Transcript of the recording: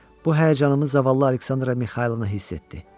Bu həyəcanımı zavallı Aleksandra Mixaylovna hiss etdi.